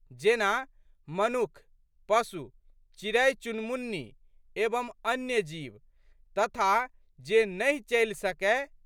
जेना, मनुख, पशु, चिड़ैचुनमुन्नी एवं अन्य जीव तथा जे नहि चलि सकए।